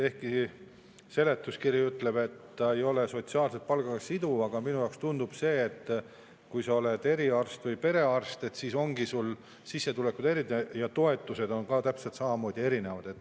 Ehkki seletuskiri ütleb, et see ei ole palgast, siis minule tundub, et kui sa oled eriarst või perearst, siis sissetulekud on erinevad ja toetused on täpselt samamoodi erinevad.